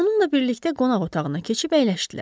Onunla birlikdə qonaq otağına keçib əyləşdilər.